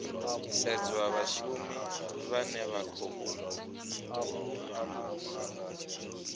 sedzwa vhashumi vhane vha khou